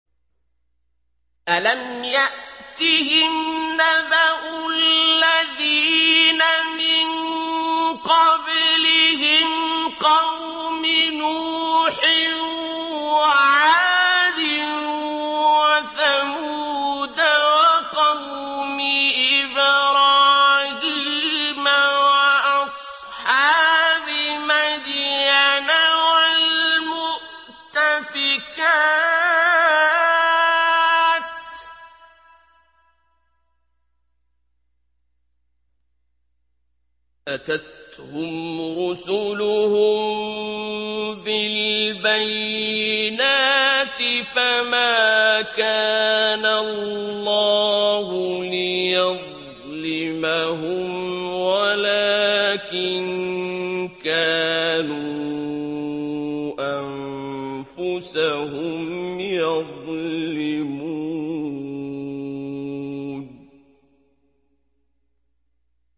أَلَمْ يَأْتِهِمْ نَبَأُ الَّذِينَ مِن قَبْلِهِمْ قَوْمِ نُوحٍ وَعَادٍ وَثَمُودَ وَقَوْمِ إِبْرَاهِيمَ وَأَصْحَابِ مَدْيَنَ وَالْمُؤْتَفِكَاتِ ۚ أَتَتْهُمْ رُسُلُهُم بِالْبَيِّنَاتِ ۖ فَمَا كَانَ اللَّهُ لِيَظْلِمَهُمْ وَلَٰكِن كَانُوا أَنفُسَهُمْ يَظْلِمُونَ